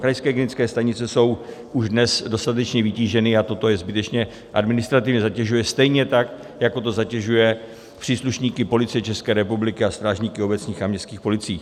Krajské hygienické stanice jsou už dnes dostatečně vytíženy a toto je zbytečně administrativně zatěžuje, stejně tak jako to zatěžuje příslušníky Policie České republiky a strážníky obecních a městských policií.